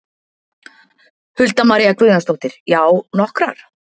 Hulda María Guðjónsdóttir: Já, nokkrar?